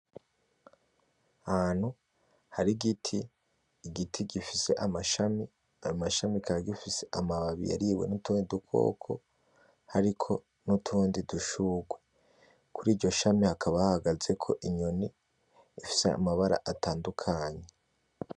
Ahantu hari igiti, igiti gifise amashami, ayo mashami kikaba gifise amababi yariwe n'utundi dukoko, hariko n'utundi dushugwe. Kuri iryo shami hakaba hahagazeko inyoni ifise amabara atandukanye.